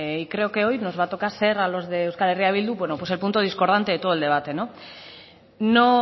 y creo que hoy nos va a tocar ser a los de euskal herria bildu pues el punto discordante de todo el debate no